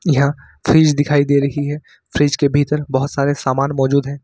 यहां फ्रिज दिखाई दे रही है फ्रिज के भीतर बहोत सारे सामान मौजूद है।